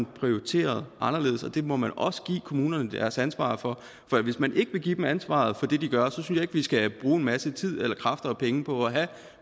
prioriteret anderledes og det må man også give kommunerne deres ansvar for for hvis man ikke vil give dem ansvaret for det de gør synes jeg ikke vi skal bruge en masse tid eller kræfter og penge på at have